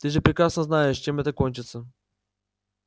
ты же прекрасно знаешь чем это кончится